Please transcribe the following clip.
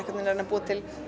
að reyna að búa til